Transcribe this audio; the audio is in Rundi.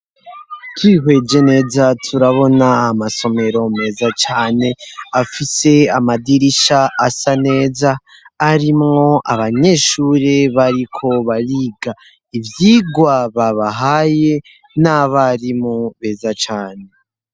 Tihweje neza turabona amasomero meza cane afise amadirisha asa neza arimwo abanyeshure bariko bariga ivyigwaba bahaye n'abarimu beza cane.